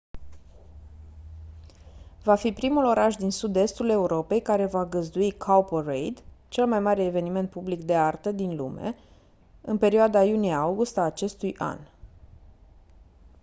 va fi primul oraș din sud-estul europei care va găzdui cowparade cel mai mare eveniment public de artă din lume în perioada iunie august a acestui an